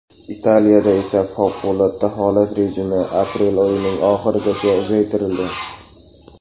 Italiyada esa favqulodda holat rejimi aprel oyining oxirigacha uzaytirildi .